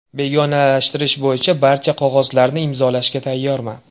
Begonalashtirish bo‘yicha barcha qog‘ozlarni imzolashga tayyorman.